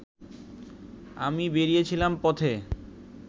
আমি বেরিয়েছিলাম পথে